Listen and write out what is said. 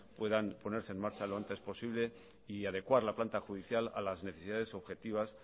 puedan ponerse en marcha lo antes posible y adecuar la planta judicial a las necesidades objetivas